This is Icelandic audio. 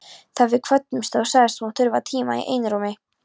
Þegar við kvöddumst þá sagðist hann þurfa tíma í einrúmi.